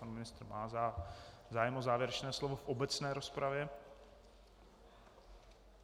Pan ministr má zájem o závěrečné slovo v obecné rozpravě.